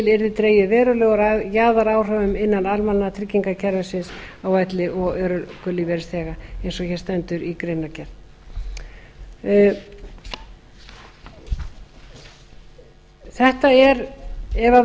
yrði dregið verulega úr jaðaráhrifum innan almannatryggingakerfisins á elli og örorkulífeyrisþega eins og hér stendur í greinargerð þetta er ef það